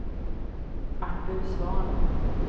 Artur Svahn